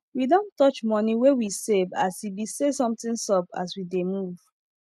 we don touch money wey we save as e be say something sup as we dey move